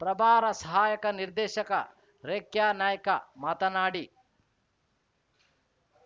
ಪ್ರಭಾರ ಸಹಾಯಕ ನಿರ್ದೇಶಕ ರೇಖ್ಯಾನಾಯ್ಕ ಮಾತನಾಡಿ